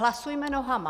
Hlasujme nohama.